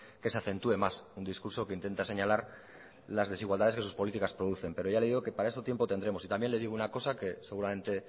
que se acentúe más un discurso que intenta señalar las desigualdades de sus políticas producen pero ya le digo que para eso tiempo tendremos y también le digo una cosa que seguramente